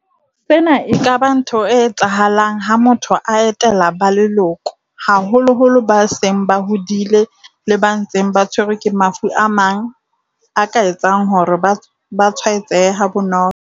Sena e ka ba ntho e etsa halang ha motho a etela ba leloko, haholo-holo ba seng ba hodile le ba ntseng ba tshwerwe ke mafu a mang a ka etsang hore ba tshwae tsehe ha bonolo.